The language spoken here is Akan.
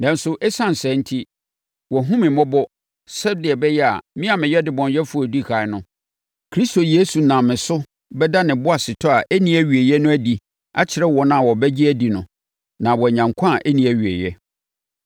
Nanso, ɛsiane saa enti, wahunu me mmɔbɔ sɛdeɛ ɛbɛyɛ a me a meyɛ ɔdebɔneyɛfoɔ a ɔdi ɛkan no, Kristo Yesu nam me so bɛda ne boasetɔ a ɛnni awieeɛ no adi akyerɛ wɔn a wɔbɛgye no adi no na wɔanya nkwa a ɛnni awieeɛ.